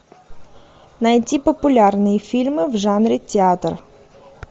найти популярные фильмы в жанре театр